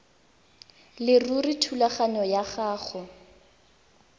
leruri thulaganyo ya go